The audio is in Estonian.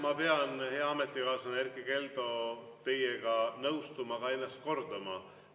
Ma pean, hea ametikaaslane Erkki Keldo, teiega nõustuma ja ennast kordama.